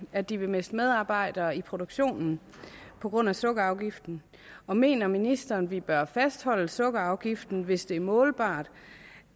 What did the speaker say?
at de vil miste medarbejdere i produktionen på grund af sukkerafgiften og mener ministeren at vi bør fastholde sukkerafgiften hvis det er målbart